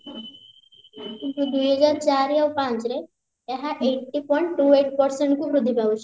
କିନ୍ତୁ ଦୁଇହଜାର ଚାରି ଆଉ ପାଞ୍ଚରେ ଏହା eighty point two eight percent କୁ ବୃଦ୍ଧି ପାଉଛି